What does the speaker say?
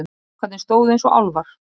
Strákarnir stóðu eins og álfar.